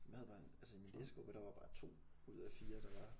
Men jeg havde bare altså i min læsegruppe der var bare 2 ud af 4 der var